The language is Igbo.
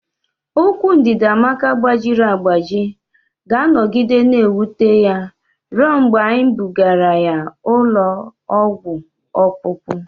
Ụkwụ Ndidiamaka gbajiri agbaji ga-anọgide na-ewute ya ruo mgbe anyị bugara ya ụlọ ọgwụ ọkpụkpụ.